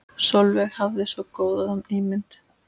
Sólveig hafði svo góða ímynd.